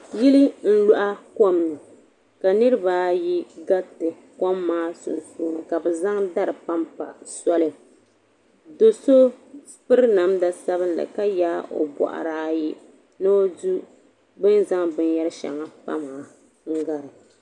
Yili n luaɣi komni ka niriba ayi garita kom maa sunsuuni ka bɛ zaŋ dari pampa soli do'so piri namda sabinli ka yaagi o boɣuri ayi ni o du bini zaŋ binyeri sheŋa pa maa n gari.